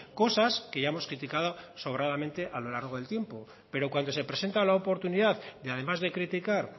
cosas que ya hemos criticado sobradamente a lo largo del tiempo pero cuando se presenta la oportunidad de además de criticar